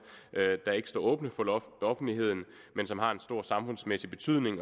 der ikke står åbne for offentligheden men som har en stor samfundsmæssig betydning